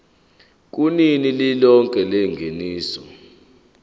kunani lilonke lengeniso